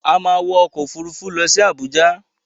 A má wọ ọkọ̀ Òfurufú lọ sí Àbújá.